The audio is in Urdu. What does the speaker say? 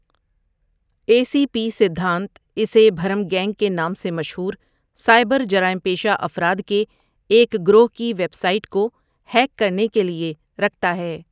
اے سی پی سدھانت اسے بھرم گینگ کے نام سے مشہور سائبر جرائم پیشہ افراد کے ایک گروہ کی ویب سائٹ کو ہیک کرنے کے لیے رکھتا ہے۔